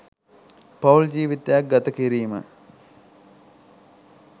පවුල් ජීවිතයක් ගතකිරීම